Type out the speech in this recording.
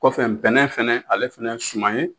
Kɔfɛ npɛnɛ fɛnɛ ale fɛnɛ ye suma ye,